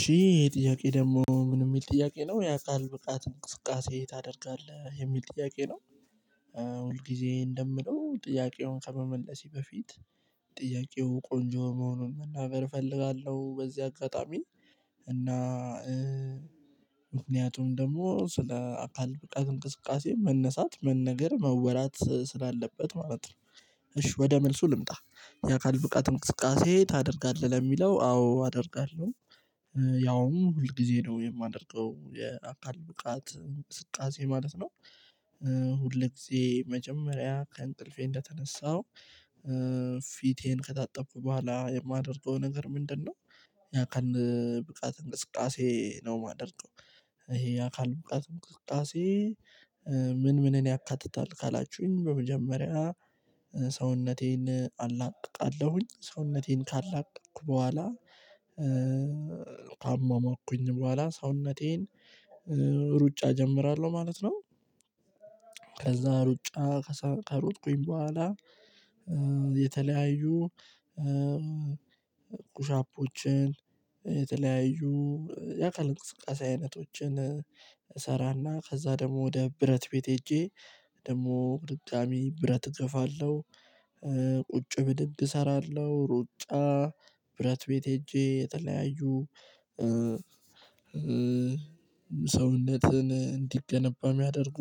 ሺህ ጥያቄ ደግሞ ምን የሚል ጥያቄ ነው የአካል ብቃት እንቅስቃሴ ታደርጋለህ የሚል ጥያቄ ነው። ሁል ጊዜ እንደምለው ጥያቄውን ከመመለሴ በፊት ጥያቄው ቆንጆ መሆኑን መናገር እፈልጋለሁ በዚህ አጋጣሚ። እና ምክንያቱም ደግሞ ስለ አካል በቃ እንቅስቃሴ መነሳት መነገር መወራት ስላለበት ማለት ነው። እሺ ወደ መልሱ ልምጣ። የአካል ብቃት እንቅስቃሴ ታደርጋለህ ለሚለው አዎ አደርጋለሁ። ያውም ሁል ጊዜ ነው የማደርገው የአካል ብቃት ስቃሴ ማለት ነው። ሁል ጊዜ መጀመሪያ ከእንቅልፌ እንደተነሳሁ ፊቴን ከታጠብኩ በኋላ የማደርገው ነገር ምንድነው? የአካል ብቃት እንቅስቃሴ ነው የማደርገው። ይሄ አካል ብቃት እንቅስቃሴ። ምን ምንን ያካትታል ካላችሁኝ በመጀመሪያ። ሰውነቴን አላቅቃለሁኝ ሰውነቴን ካላቅኩ በኋላ አሟሟኩኝ በኋላ ሰውነቴን ሩጫ እጀምራለሁ ማለት ነው። ከዛ ሩጫ ከሩጥኩኝ በኋላ የተለያዩ ፑሻፖችን የተለያዩ የአካል እንቅስቃሴ አይነቶችን እሰራና ከዛ ደግሞ ወደ ብረት ቤት ሄጄ ደግሞ ድጋሚ ብረት እገፋለሁ። ቁጭ ብድብድ እሰራለሁ ሩጣ ብረት ቤት ሄጄ የተለያዩ ሰውነትን እንዲገነባ የሚያደርጉ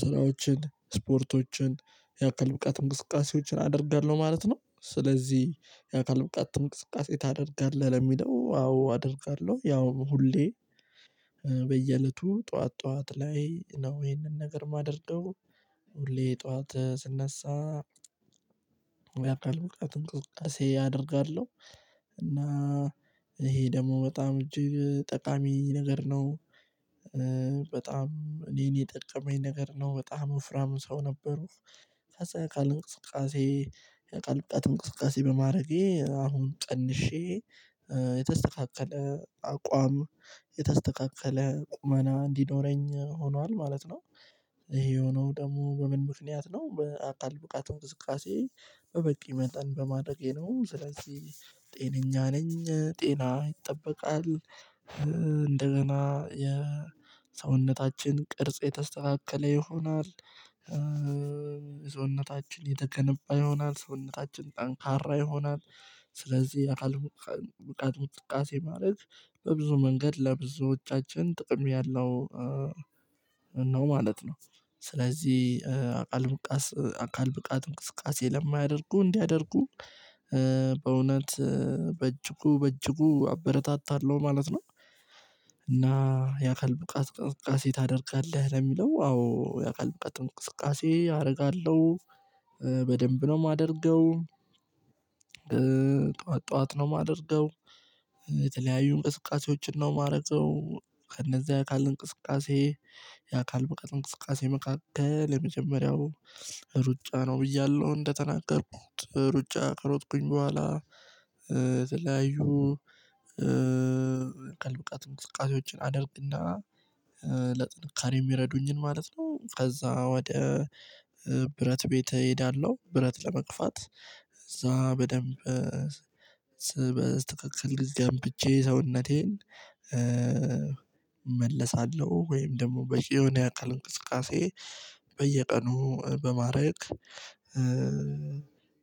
ስራዎችን ስፖርቶችን የአካል ብቃት እንቅስቃሴዎችን አደርጋለሁ ማለት ነው። ስለዚህ የአካል ብቃት እንቅስቃሴ ታደርጋለህ ለሚለው አዎ አደርጋለሁ ያው ሁሌ በየእለቱ ጠዋት ጠዋት ላይ ነው ይሄንን ነገር የማደርገው። ሁሌ ጠዋት ስነሳ የአካል ብቃት እንቅስቃሴ አደርጋለሁ። እና ይሄ ደግሞ በጣም እጅግ ጠቃሚ ነገር ነው። በጣም እኔን የጠቀመኝ ነገር ነው በጣም ወፍራም ሰው ነበሩ። ከዛ የአካል እንቅስቃሴ የአካል ብቃት እንቅስቃሴ በማድረጌ አሁን ቀንሼ የተስተካከለ አቋም የተስተካከለ ቁመና እንዲኖረኝ ሆኗል ማለት ነው። ይሄ የሆነው ደግሞ በምን ምክንያት ነው? በአካል ብቃት እንቅስቃሴ በበቂ መጠን በማድረጌ ነው ስለዚህ ጤነኛ ነኝ ጤና ይጠበቃል እንደገና የሰውነታችን ቅርጽ የተስተካከለ ይሆናል። ሰውነታችን የተከነባ ይሆናል ሰውነታችን ጠንካራ ይሆናል። ስለዚህ የአካል ብቃት እንቅስቃሴ ማለት በብዙ መንገድ ለብዙዎቻችን ጥቅም ያለው ነው ማለት ነው። ስለዚህ አካል ብቃት አካል ብቃት እንቅስቃሴ ለማያደርጉ እንዲያደርጉ በእውነት በእጅጉ በእጅጉ አበረታታለሁ ማለት ነው። እና የአካል ብቃት እንቅስቃሴ ታደርጋለህ ለሚለው አዎ የአካል ብቃት እንቅስቃሴ አደርጋለሁ። በደንብ ነው የማደርገው። ጠዋት ጠዋት ነው የማደርገው። የተለያዩ እንቅስቃሴዎችን ነው የማረገው ከእነዚያ አካል እንቅስቃሴ የአካል በቀጥ እንቅስቃሴ መካከል የመጀመሪያው ሩጫ ነው ብያለሁ። እንደተናገርኩት ሩጫ ከሮጥኩኝ በኋላ ተለያዩ የአካል ብቃት እንቅስቃሴዎችን አደርግና ለጥንካሬ የሚረዱኝን ማለት ነው። ከዛ ወደ ብረት ቤት እሄዳለሁ። ብረት ለመግፋት ከዛ በደንብ ስበዝ ትክክል ግዝገምብቼ ሰውነቴን እመለሳለሁ ወይም ደግሞ በ የሆነ የአካል እንቅስቃሴ በየቀኑ በማረግ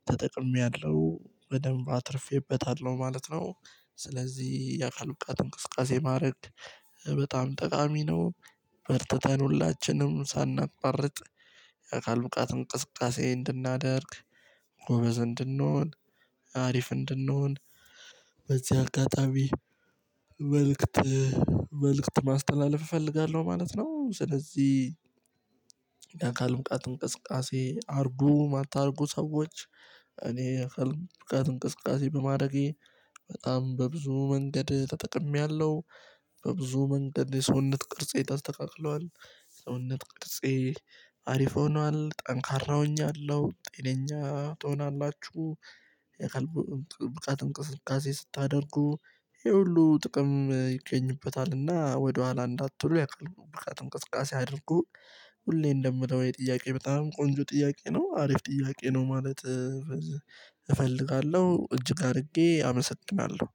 ተጠቅሜያለሁ በደንብ አትርፌበታለሁ ማለት ነው። ስለዚህ የአካል ብቃት እንቅስቃሴ ማድረግ በጣም ጠቃሚ ነው። በርተተን ሁላችንም ሳቋርጥ የአካል ብቃት እንቅስቃሴ እንድናደርግ ጎበዝ እንድንሆን አሪፍ እንድንሆን በዚህ አጋጣሚ መልእክት መልእክት ማስተላለፍ እፈልጋለሁ ማለት ነው። ስለዚህ አካል ብቃት እንቅስቃሴ አድርጉ ማታደርጉ ሰዎች እኔ እንቅስቃሴ በማድረጌ በጣም በብዙ መንገድ ተጠቅሜያለሁ። በብዙ መንገድ የሰውነት ቅርጼ ተስተካክሏል። ሰውነት ቅርጼ ሆኗል ጠንካራ ሆኛለሁ ጤነኛ ትሆናላችሁ። የአካል ብቃት እንቅስቃሴ ስታደርጉ ይሄ ሁሉ ጥቅም ይገኝበታልና ወደኋላ እንዳትሉ የአካል ብቃት እንቅስቃሴ አድርጉ። ሁሌ እንደምለው ጥያቄ በጣም ቆንጆ ጥያቄ ነው አሪፍ ጥያቄ ነው። ማለት እፈልጋለሁ እጅግ አድርጌ አመሰጥናለሁ